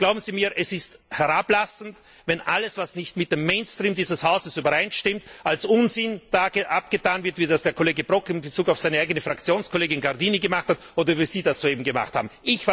Glauben Sie mir, es ist herablassend, wenn alles, was nicht mit dem Mainstream dieses Hauses übereinstimmt, als Unsinn abgetan wird, wie das der Kollege Brok in Bezug auf seine eigene Fraktionskollegin Gardini gemacht hat, oder wie Sie das soeben gemacht haben.